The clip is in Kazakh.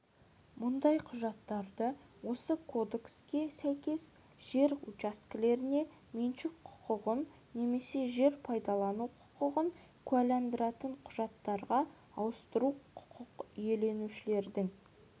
мұндай құжаттарды осы кодекске сәйкес жер учаскелеріне меншік құқығын немесе жер пайдалану құқығын куәландыратын құжаттарға ауыстыру құқық иеленушілердің